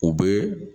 U bɛ